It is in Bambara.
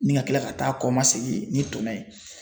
Ni ka kila ka taa kɔmasegin ni tɔnɔ ye